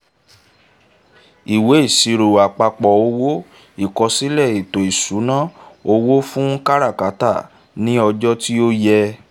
ìwé ìṣirò àpapọ̀ owó: ìkọsílẹ̀ ètò ìṣúná owo fún káràkátà ni ọjọ́ tí ó yẹ